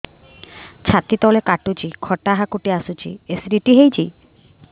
ଛାତି ତଳେ କାଟୁଚି ଖଟା ହାକୁଟି ଆସୁଚି ଏସିଡିଟି ହେଇଚି